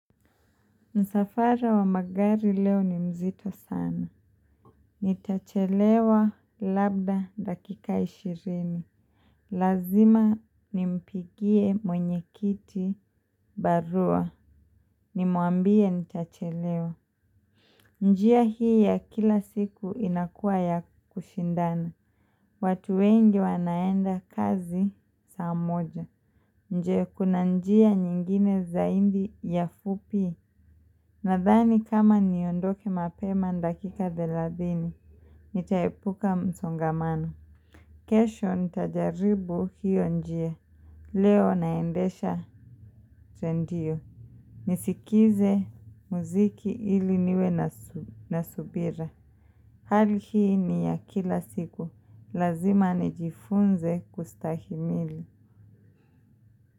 Msafara wa magari leo ni mzito sana. Nitachelewa labda dakika ishirini. Lazima nimpigie mwenye kiti barua. Nimuambie nitachelewa. Njia hii ya kila siku inakua ya kushindana. Watu wengi wanaenda kazi saa moja. Je kuna njia nyingine zaidi ya fupi. Nadhani kama niondoke mapema ni dakika thelathini, nitaepuka msongamano. Kesho nitajaribu hio njia. Leo naendesha zendio. Nisikize muziki ili niwe na subira. Hali hii ni ya kila siku. Lazima nijifunze kustahimili.